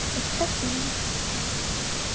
হচ্ছে সুন্দর